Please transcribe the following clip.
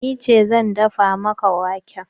Ni ce zan dafa maka wake.